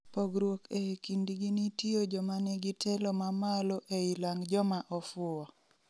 pogruok ee kindgi nitio jomanigi telo ma maloo ei lang joma ofuo